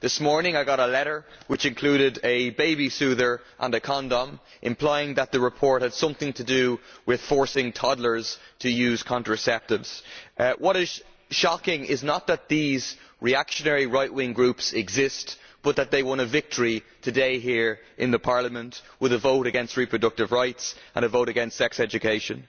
This morning I got a letter which included a baby soother and a condom, implying that the report had something to do with forcing toddlers to use contraceptives. What is shocking is not that these reactionary right wing groups exist, but that they won a victory today here in Parliament with a vote against reproductive rights and a vote against sex education.